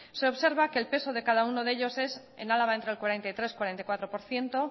se observa que el peso de cada uno de ellos es en álava entre el cuarenta y tres cuarenta y cuatro por ciento